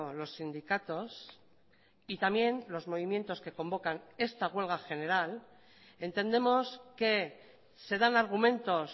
los sindicatos y también los movimientos que convocan esta huelga general entendemos que se dan argumentos